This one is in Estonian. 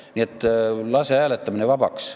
Nii et lase hääletamine vabaks.